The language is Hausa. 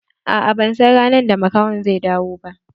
A'a ban san ranar da makahon zai dawo ba.